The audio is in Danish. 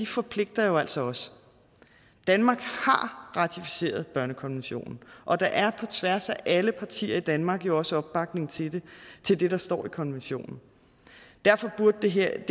forpligter jo altså også danmark har ratificeret børnekonventionen og der er på tværs af alle partier i danmark jo også opbakning til til det der står i konventionen derfor burde det her